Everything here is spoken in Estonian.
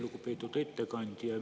Lugupeetud ettekandja!